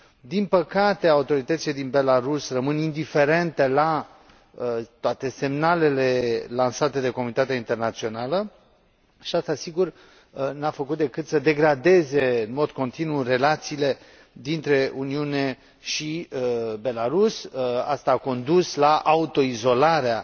Din păcate, autoritățile din Belarus râmăn indiferente la toate semnalele lansate de comunitatea internațională și aceasta, sigur, nu a făcut decât să degradeze în mod continuu relațiile dintre Uniune și Belarus, ceea ce a condus, practic, la autoizolarea